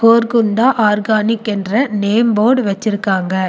கோர்க்குண்ந்தா organic என்ற name போடு வெச்சிருக்காங்க.